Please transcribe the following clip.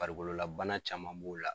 Farikololabana caman b'o la.